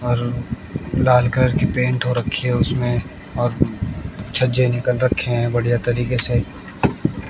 और लाल कलर की पेंट हो रखी है उसमें और छज्जे निकाल रखे हैं बढ़िया तरीके से--